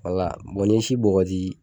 Wala n'i ye si bɔgɔti